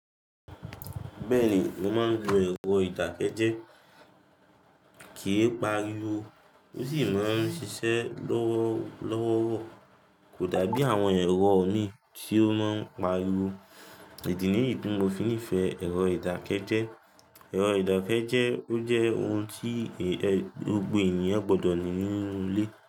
Bẹ́ẹ̀ ni, mo máa ń lo ẹ̀rọ ìdákẹ́jẹ́, kì í pariwo, ó sì máa ń ṣiṣẹ́ lọ́wọ́lọ́wọ́, kò dàbí àwọn ẹ̀rọ mi tí ó máa ń pariwo, idi nìyí ti mó fi ńifẹ ẹ̀rọ ìdákẹ́jẹ́. Ẹ̀rọ ìdákẹ́jẹ́, ó jẹ́ ohun tí gbogbo ènìyàn gbọ́dọ̀ ní nínú ilé.